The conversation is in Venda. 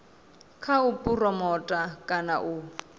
kha u phuromotha kana u